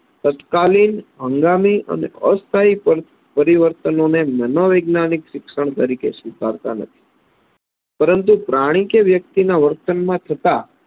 તત્કાલીન, હંગામી અને અસ્થાયી પરિ પરિવર્તનોને મનોવૈજ્ઞાનિક શિક્ષણ તરીકે સ્વીકારતા નથી પરંતુ પ્રાણી કે વ્યક્તિના વર્તનમાં થતા